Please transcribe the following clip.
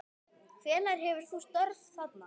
Hvenær hefurðu störf þarna?